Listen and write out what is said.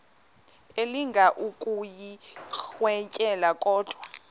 elinga ukuyirintyela kodwa